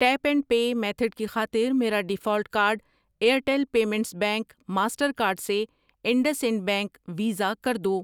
Tape and pay method کی خاطر میرا default card Airtel payments bank, Mastercard سے انڈس انڈ بینک ، ویزا کر دو۔